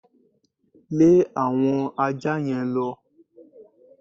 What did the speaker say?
Lẹ́ àwọn aja yẹn lọ!